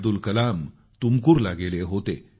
अब्दुल कलाम तुमकुरला गेले होते